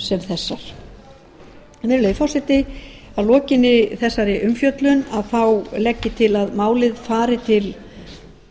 sem þessar virðulegi forseti að lokinni þessari umfjöllun þá legg ég til að málið fari til